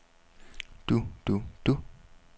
du du du